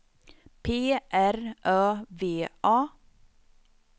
P R Ö V A